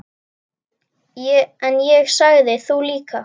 En ég sagði: Þú líka.